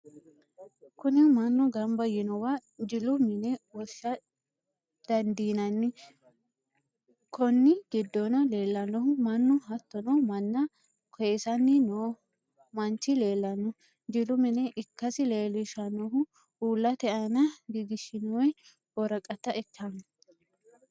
Kuni manu gamba yinowa jilu mine wosha dandinnanni, konni gidonni leelanohu manu hatono mana koyisisanni noo manchi leelano, jilu mine ikkasi leelishanohu uulate aanna gigishinonihu woraqata ikkano